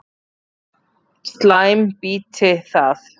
Slæm býti það.